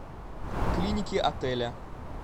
клиники отеля